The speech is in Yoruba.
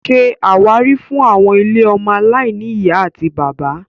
Ṣé àwárí fún àwọn ilé ọmọ aláìní ìyá àti bàbá